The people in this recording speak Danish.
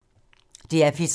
DR P3